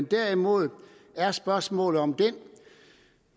derimod er spørgsmålet om den